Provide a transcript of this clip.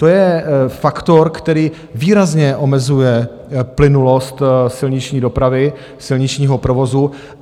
To je faktor, který výrazně omezuje plynulost silniční dopravy, silničního provozu.